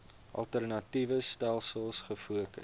alternatiewe stelsels gefokus